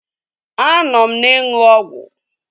Anọ m na-ịṅụ ọgwụ